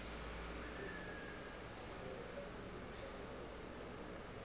o be a na le